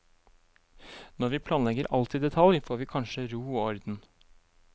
Når vi planlegger alt i detalj, får vi kanskje ro og orden.